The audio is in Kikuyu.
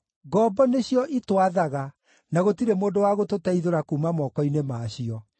Ngombo nĩcio itwathaga, na gũtirĩ mũndũ wa gũtũteithũra kuuma moko-inĩ ma cio.